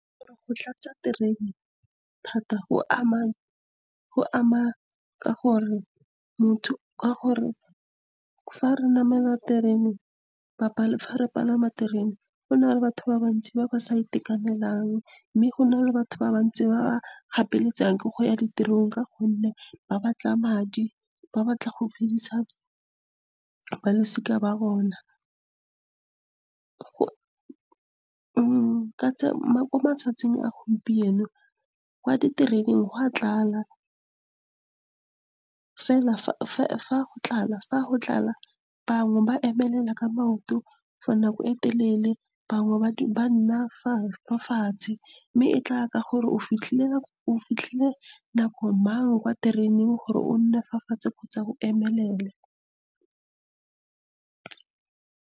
Go tlatsa terene thata go ama, ka gore fa re namela terene, fa re palama terene, go na le batho ba bantsi ba ba sa itekanelang. Mme go na le batho ba bantsi ba ba gapeletsegang ke go ya ditirong ka gonne ba batla madi, ba batla go phidisa balosika la bona. Mo matsatsing a gompieno, kwa ditereneng go a tlala, fela fa go tlala, bangwe ba emelela ka maoto for nako e telele, bangwe ba nna fa fatshe. Mme e tlaya ka gore o fitlhile nako mang kwa tereneng gore o nne fa fatshe kgotsa go emelele.